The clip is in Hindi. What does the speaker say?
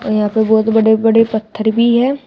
यहाँ पे बहोत बड़े बड़े पत्थर भी है।